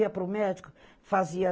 Ia para o médico, fazia